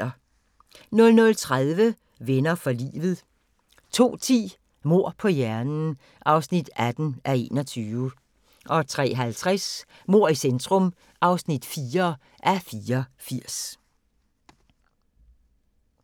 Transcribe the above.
00:30: Venner for livet 02:10: Mord på hjernen (18:21) 03:50: Mord i centrum (4:84)